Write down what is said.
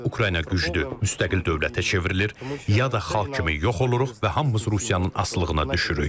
Ya Ukrayna güclü müstəqil dövlətə çevrilir, ya da xalq kimi yox oluruq və hamımız Rusiyanın asılılığına düşürük.